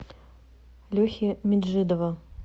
лехи меджидова